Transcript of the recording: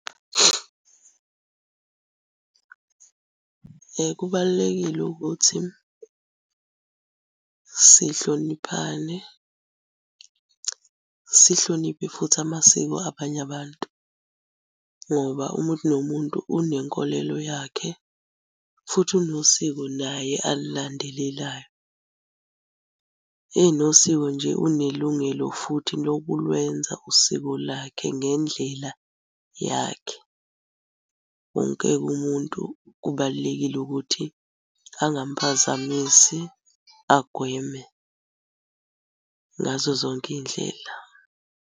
Kubalulekile ukuthi sihloniphane, sihloniphe futhi amasiko abanye abantu ngoba umuntu nomuntu unenkolelo yakhe, futhi unosiko naye alulandelelayo. Enosiko nje unelungelo futhi lokulwenza usiko lakhe ngendlela yakhe. Wonke-ke umuntu kubalulekile ukuthi angamphazamisi agweme ngazo zonke iy'ndlela.